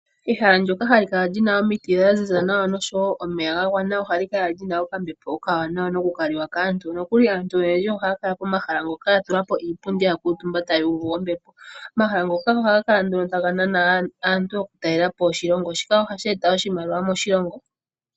Ehala ndoka halikala li na omiti dha ziza nawa oshowo omeya ga gwana ohali kala lina okambepo okawanawa no ku kaliwa kaantu. Aantu oyendji oha yakala pomahala mpoka ya tulapo iipundi ya kuutumba ta ya uvu ombepo. Omahala Ngoka ohaga kala taga nana aantu yoku talelapo oshilongo shika ohashi eta oshimaliwa moshilongo.